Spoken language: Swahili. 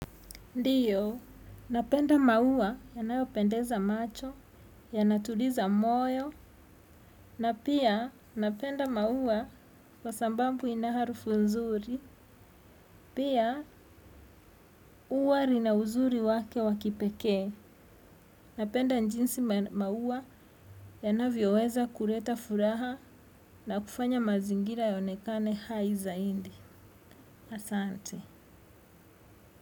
Ndiyo, napenda maua yanayopendeza macho, yanatuliza moyo, na pia napenda maua kwa sababu ina harufu nzuri, pia huwa lina uzuri wake wa kipekee. Napenda jinsi maua yanavyoweza kuleta furaha na kufanya mazingira yaonekane hai zaidi. Asante.